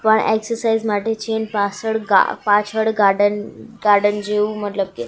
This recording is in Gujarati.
પણ એક્સરસાઈઝ માટે છે પાસળ ગા પાછળ ગાડન ગાર્ડન જેવું મતલબ કે--